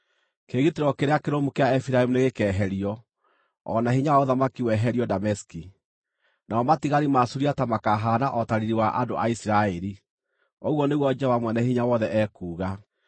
Kĩĩgitĩro kĩrĩa kĩrũmu kĩa Efiraimu nĩgĩkeherio, o na hinya wa ũthamaki weherio Dameski; namo matigari ma Suriata makaahaana o ta riiri wa andũ a Isiraeli,” ũguo nĩguo Jehova Mwene-Hinya-Wothe ekuuga.